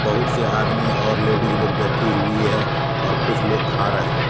बहुत से आदमी और लेडिस लोग बैठी हुई है और कुछ लोग खा रहे है।